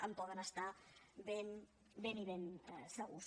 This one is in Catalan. en poden estar ben i ben segurs